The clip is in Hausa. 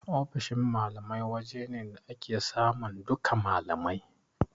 Ofishin malamai waje ne da ake samun duka malamai